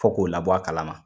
Fɔ k'o labɔ a kalama